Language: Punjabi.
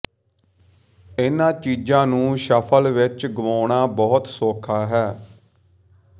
ਇਨ੍ਹਾਂ ਚੀਜ਼ਾਂ ਨੂੰ ਸ਼ੱਫਲ ਵਿਚ ਗੁਆਉਣਾ ਬਹੁਤ ਸੌਖਾ ਹੈ